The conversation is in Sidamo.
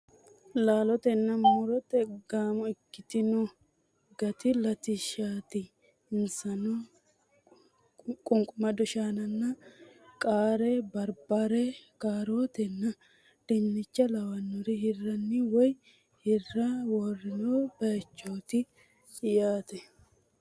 Laalotenna mu'rote gaamo ikkitino gati latishshaati. Insano qunqumado shaana, qaara barbare, kaarootenna dinnicha lawannore hirranni woyi hirrara worroonni baaychooti yaate.